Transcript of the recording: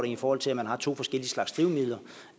i forhold til at man har to forskellige slags drivmidler